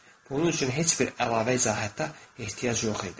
Bunun üçün heç bir əlavə izahata ehtiyac yox idi.